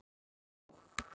Þá fór ég inn á Vog.